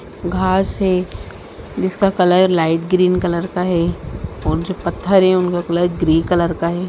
घास है जिसका कलर लाइट ग्रीन कलर का है वहाँ जो पत्थर हैं उनका कलर ग्रे कलर का है।